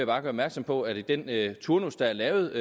bare gøre opmærksom på at det i den turnus der er lavet i